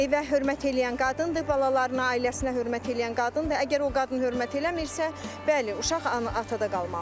Evə hörmət eləyən qadındır, balalarına, ailəsinə hörmət eləyən qadındır, əgər o qadın hörmət eləmirsə, bəli, uşaq atada qalmalıdır.